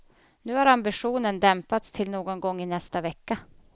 Nu har ambitionen dämpats till någon gång i nästa vecka.